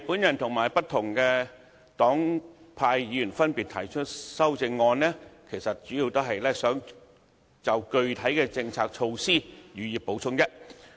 我和不同黨派議員分別提出修正案，主要是想就具體政策措施予以補充。